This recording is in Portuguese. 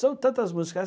São tantas músicas.